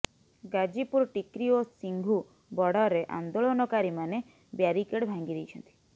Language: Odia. ଗାଜିପୁର୍ ଟିକ୍ରି ଓ ସିଂଘୁ ବର୍ଡରରେ ଆନ୍ଦୋଳନକାରୀମାନେ ବ୍ୟାରିକେଡ୍ ଭାଙ୍ଗି ଦେଇଛନ୍ତି